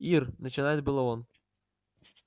ир начинает было он